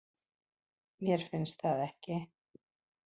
Mér finnst það ekki